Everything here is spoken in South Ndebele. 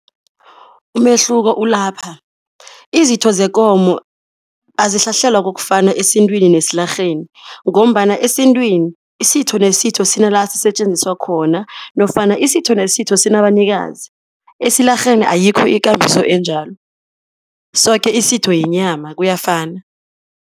Umehluko ulapha, izitho zekomo azihlahlelwa kokufana esintwini nesilarheni ngombana esintwini isitho nesitho sinala sisetjenziswa khona nofana isitho nesitho sinabanikazi. Esilarheni ayikho ikambiso enjalo, soke isitho yinyama, kuyafana.